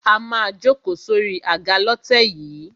A má a jókòó sórí àga lọ́tẹ̀ yìí.